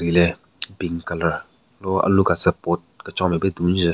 Hile pink colour lo alu katsü pot kechon nmen pe dunjun.